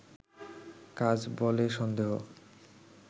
কাজ বলে সন্দেহ